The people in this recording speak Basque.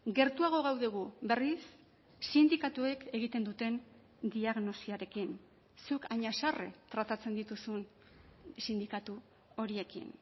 gertuago gaude gu berriz sindikatuek egiten duten diagnosiarekin zuk hain haserre tratatzen dituzun sindikatu horiekin